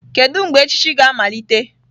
Kedu mgbe echichi ga-amalite?